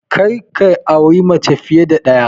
Kar ka auri mace fiye da ɗaya!